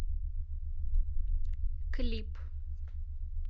клип